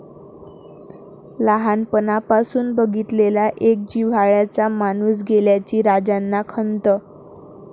लहानपणापासुन बघितलेला एक जिव्हाळ्याचा माणूस गेल्याची राजांना खंत.